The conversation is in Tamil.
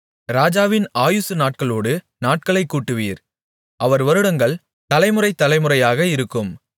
ராஜாவின் ஆயுசு நாட்களோடு நாட்களைக் கூட்டுவீர் அவர் வருடங்கள் தலைமுறை தலைமுறையாக இருக்கும்